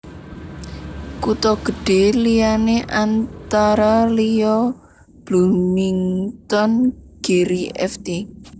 Kutha gedhé liyané antara liya Bloomington Gary Ft